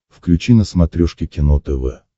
включи на смотрешке кино тв